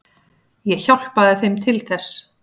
Ég hjálpaði þeim til þess.